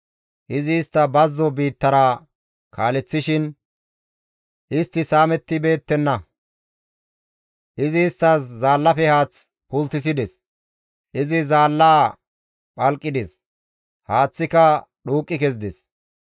Izi istta bazzo biittara kaaleththishin istti saamettibeettenna. Izi isttas zaallafe haath pulttisides; izi zaallaa phalqides; haaththika dhuuqqi kezides.